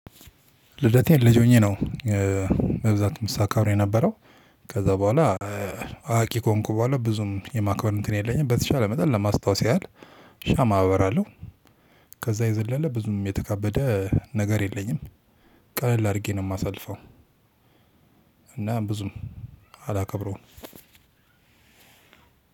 ልደቴን ልጅ ሆኜ ነው በብዛትም ሳከብር የነበረው ከዛ በኋላ አዋቂ ከሆንኩ በኋላ ብዙም የማክበር እንትን የለኝም በተቻለ መጠን ለማስታወስ ያህል ሻማ አበራለሁ። ከዛ የዘለለ ብዙም የተካበደ ነገር የለኝም። ቀለል አድርጌ ነው የማሳልፈው፤ እና ብዙም አላከብረውም።